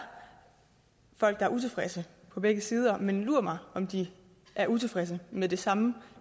folk der er utilfredse på begge sider men lur mig om de er utilfredse med det samme